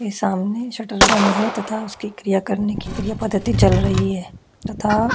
ये सामने शटर बंद हैं तथा उसके क्रिया करने की क्रिया पद्धति चल रही हैं तथा--